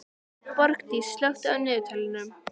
Borgdís, slökktu á niðurteljaranum.